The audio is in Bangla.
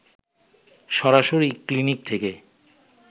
সরাসরি ক্লিনিক থেকে